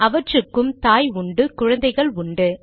அவற்றுக்கு தாய் உண்டு குழந்தைகள் உண்டு